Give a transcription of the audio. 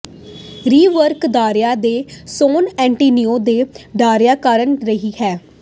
ਰਿਵਰਵੱਕਕ ਦਹਾਕਿਆਂ ਤੋਂ San Antonio ਦੇ ਡਰਾਇੰਗ ਕਾਰਡ ਰਿਹਾ ਹੈ